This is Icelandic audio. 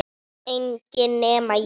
Enginn nema ég